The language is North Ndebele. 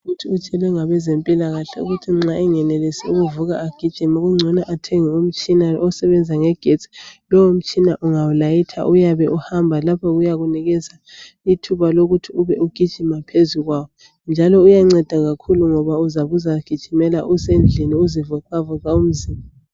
Uthi utshelwe ngabezempilakahle ukuthi nxa engenelisi ukuvuka agijime kungcono athenge umtshina osebenza ngegesti lowo mtshina ungawulayitha uhamba lapha uyakunikeza ithuba lokuthi ube ugijima phezulu kwawo njalo uyanceda kakhulu ngoba uzabe uzagijimela usendlini uzivoxavoxa umzimba.